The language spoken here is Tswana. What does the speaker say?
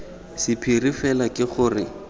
sa phiri fela ke gore